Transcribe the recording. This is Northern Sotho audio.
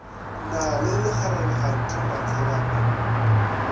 na le lekgarebe kganthe matsobane